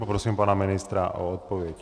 Poprosím pana ministra o odpověď.